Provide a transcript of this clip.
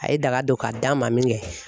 A ye daga don ka d'anma min kɛ